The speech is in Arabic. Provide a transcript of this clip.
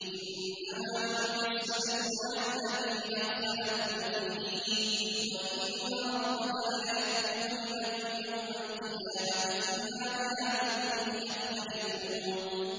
إِنَّمَا جُعِلَ السَّبْتُ عَلَى الَّذِينَ اخْتَلَفُوا فِيهِ ۚ وَإِنَّ رَبَّكَ لَيَحْكُمُ بَيْنَهُمْ يَوْمَ الْقِيَامَةِ فِيمَا كَانُوا فِيهِ يَخْتَلِفُونَ